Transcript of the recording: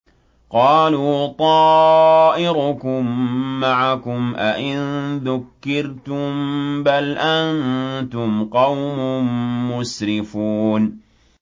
قَالُوا طَائِرُكُم مَّعَكُمْ ۚ أَئِن ذُكِّرْتُم ۚ بَلْ أَنتُمْ قَوْمٌ مُّسْرِفُونَ